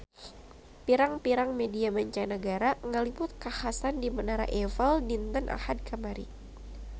Pirang-pirang media mancanagara ngaliput kakhasan di Menara Eiffel dinten Ahad kamari